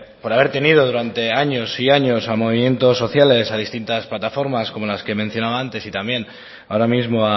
por haber tenido durante años y años a movimientos sociales a distintas plataformas como las que he mencionado antes y también ahora mismo